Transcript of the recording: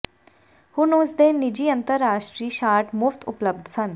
ਹੁਣ ਉਸ ਦੇ ਨਿੱਜੀ ਅੰਤਰਰਾਸ਼ਟਰੀ ਸ਼ਾਟ ਮੁਫ਼ਤ ਉਪਲੱਬਧ ਸਨ